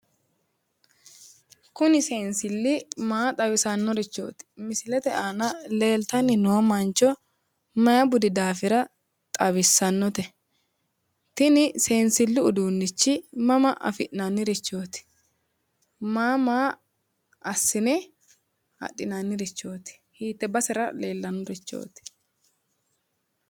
Kuni seensilli maa xawisannorichooti? misilete aana leeltanni noo mancho maayi budi daafira xawissannote? tini seensillu uduunnichi mama afi'nannirichooti? Maa maa assine adhinannirichooti? hiitte basera leellannorichooti?